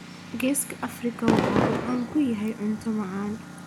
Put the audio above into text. Geeska Afrika waxa uu caan ku yahay cunto macaan